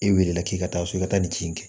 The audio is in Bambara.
E weele la k'i ka taa so i ka taa nin kin kɛ